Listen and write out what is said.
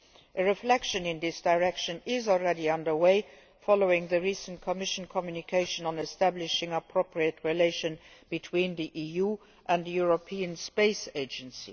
A reflection along these lines is already underway following the recent Commission communication on establishing appropriate relations between the EU and the European Space Agency.